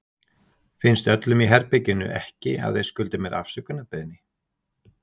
Finnst öllum í herberginu ekki að þeir skuldi mér afsökunarbeiðni?